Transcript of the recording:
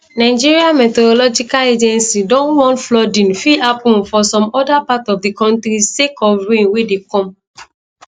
nigeria meteorological agency don warn flooding fit happun for some oda part of di kontri sake of rain wey dey come